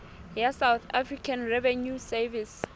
ya south african revenue service